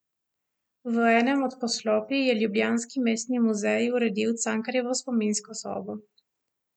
V enem od poslopij je ljubljanski Mestni muzej uredil Cankarjevo spominsko sobo.